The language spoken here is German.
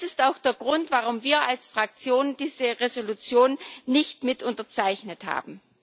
Das ist auch der Grund, warum wir als Fraktion diese Entschließung nicht mit unterzeichnet haben.